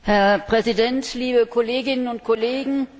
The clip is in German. Herr Präsident, liebe Kolleginnen und Kollegen!